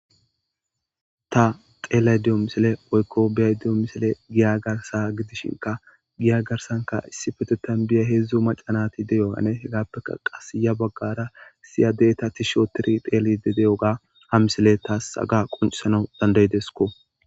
Ta xeelaydiyo misile woykko biyaydiyo misile giya garsa gidishinka giya garsanka issi petetan biya heedzdzu macanati de yohane hegappeka qas ya baggara siya deeta tishootiri peeli de de oga ha misile taas aga qoncisana dandaydesko.